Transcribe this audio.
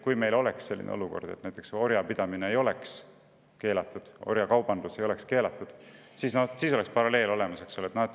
Kui meil oleks näiteks selline olukord, et orjapidamine ei oleks keelatud, orjakaubandus ei oleks keelatud, siis oleks paralleel olemas.